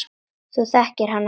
Þú þekkir hann ekki.